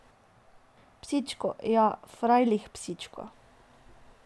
Psičko, ja, frajlih, psičko.